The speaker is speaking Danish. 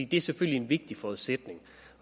det er selvfølgelig en vigtig forudsætning